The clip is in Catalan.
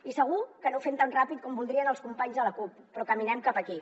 i segur que no ho fem tan ràpid com voldrien els companys de la cup però caminem cap aquí